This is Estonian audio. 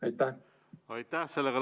Aitäh!